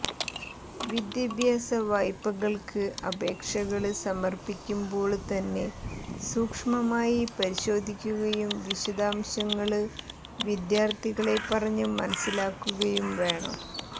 വിദ്യാഭ്യാസ വായ്പകള്ക്ക് അപേക്ഷകള് സമര്പ്പിക്കുമ്പോള്ത്തന്നെ സൂക്ഷ്മമായി പരിശോധിക്കുകയും വിശദാംശങ്ങള് വിദ്യാര്ഥികളെ പറഞ്ഞ് മനസിലാക്കുകയും വേണം